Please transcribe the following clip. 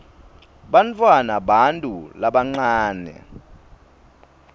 bantfwana bantu labancane